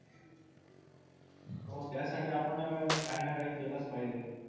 हो त्यासाठी आपण काही ना काही केलंच पाहिजे.